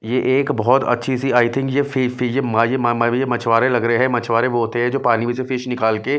ये एक बहुत अच्छी सी आई थिंक ये ये फि फि म मा मछुवारे लग रहे हैं मछवारे वो होते हैं जो पानी में से फिश निकाल के --